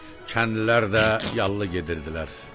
Kəndlilər də yallı gedirdilər.